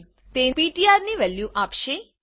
તે પીટીઆર ની વેલ્યુ આપશે